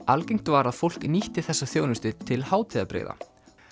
algengt var að fólk nýtti þessa þjónustu til hátíðabrigða